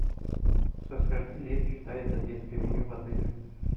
со скольки лет считается детское меню в отеле